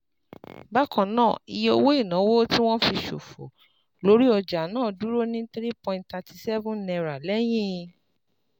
Bákan náà, iye owó ìnáwó tí wọ́n fi ṣòfò lórí ọjà náà dúró ní three point thirty seven naira lẹ́yìn